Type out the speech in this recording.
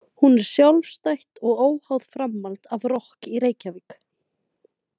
Hún er sjálfstætt og óháð framhald af „Rokk í Reykjavík“.